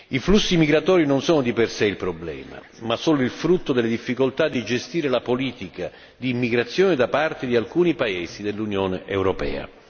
I flussi migratori non sono di per sé il problema, ma sono il frutto delle difficoltà di gestire la politica di immigrazione da parte di alcuni paesi dell'Unione europea.